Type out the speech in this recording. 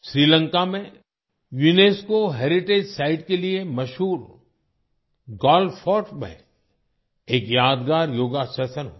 श्रीलंका में UNESCO heritage site के लिए मशहूर गॉल फोर्ट में भी एक यादगार योगा सेशन हुआ